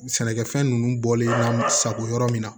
Sɛnɛkɛfɛn ninnu bɔlen n'an sago yɔrɔ min na